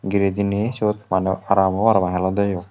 gire diney sut aram obo parapang helode o.